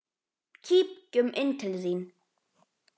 Kíkjum inn til þín